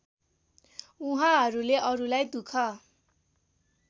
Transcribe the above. उहाँहरूले अरूलाई दुख